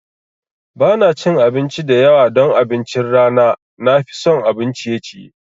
Ba na cin abinci da yawa don abincin rana, na fi son abun ciye ciye.